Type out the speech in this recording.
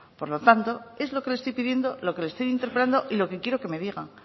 por lo tanto es lo que le estoy pidiendo lo que le estoy interpelando lo que quiero que me diga